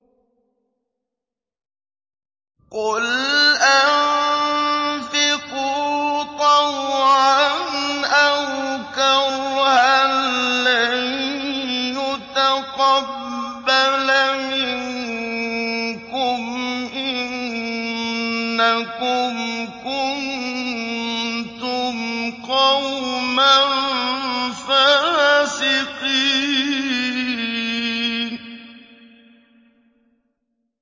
قُلْ أَنفِقُوا طَوْعًا أَوْ كَرْهًا لَّن يُتَقَبَّلَ مِنكُمْ ۖ إِنَّكُمْ كُنتُمْ قَوْمًا فَاسِقِينَ